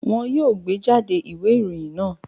Wọn yoo gbejade iwe iroyin naa!